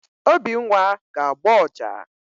Obinwa ga-agba ọjà.